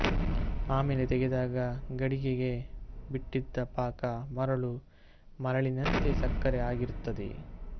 ಆಮೇಲೆ ತೆಗೆದಾಗ ಗಡಿಗೆಗೆ ಬಿಟ್ಟಿದ್ದ ಪಾಕ ಮರಳು ಮರಳಿನಂತೆ ಸಕ್ಕರೆ ಆಗಿರುತ್ತದೆ